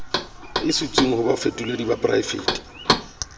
isitsweng ho bafetoledi ba poraefete